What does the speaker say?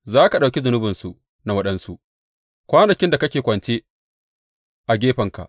Za ka ɗauki zunubinsu na waɗansu kwanakin da kake kwance a gefenka.